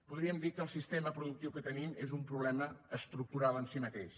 podríem dir que el sistema productiu que tenim és un problema estructural en si mateix